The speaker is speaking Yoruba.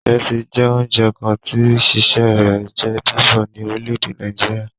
Ìrẹsì jẹ́ oúnjẹ kan tí sísè rẹ̀ jẹ́ bíbọ̀ ní orílè èdè Nàìjíríà